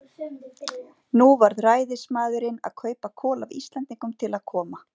Nú varð ræðismaðurinn að kaupa kol af Íslendingum til að koma